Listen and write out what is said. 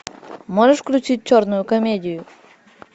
можешь включить черную комедию